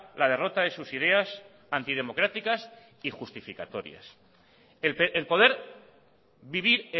la derrota de sus ideas antidemocráticas y justificatorias el poder vivir